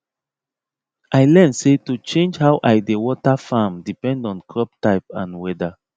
i learn say to change how i dey water farm depend on crop type and weather